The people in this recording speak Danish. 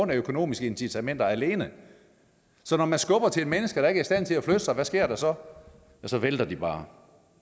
af økonomiske incitamenter alene så når man skubber til mennesker der ikke er i stand til at flytte sig hvad sker der så så vælter de bare